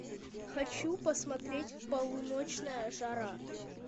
хочу посмотреть полуночная жара